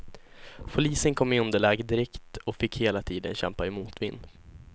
Polisen kom i underläge direkt och fick hela tiden kämpa i motvind.